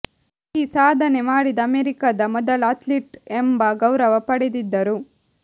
ಈ ಸಾಧನೆ ಮಾಡಿದ ಅಮೆರಿಕದ ಮೊದಲ ಅಥ್ಲೀಟ್ ಎಂಬ ಗೌರವ ಪಡೆದಿದ್ದರು